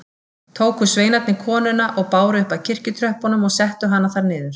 Tóku sveinarnir konuna og báru upp að kirkjutröppunum og settu hana þar niður.